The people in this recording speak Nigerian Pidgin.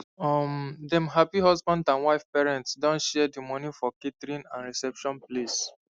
um dem happy husband and wife parents don share the money for catering and reception place